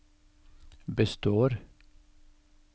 består